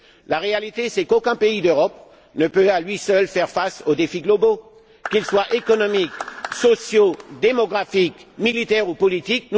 La réalité, c'est qu'aucun pays d'Europe ne peut, à lui seul, faire face aux défis globaux, qu'ils soient économiques, sociaux, démographiques, militaires ou politiques.